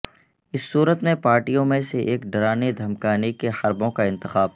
اس صورت میں پارٹیوں میں سے ایک ڈرانے دھمکانے کے حربوں کا انتخاب